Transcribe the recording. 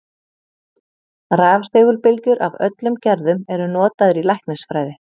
Rafsegulbylgjur af öllum gerðum eru notaðar í læknisfræði.